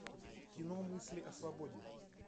кино мысли о свободе